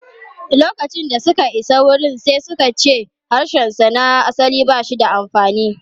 Lokacin da ya isa wurin, sai suka ce harshensa na asali ba shi da amfani.